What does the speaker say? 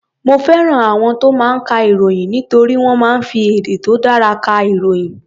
Mo fẹ́ràn àwọn tó máa ń ka ìròyìn nítorí wọ́n máa ń fi èdè tó dári ka ìròyìn.